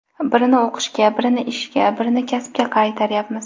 Birini o‘qishga, birini ishga, birini kasbga qaytaryapmiz.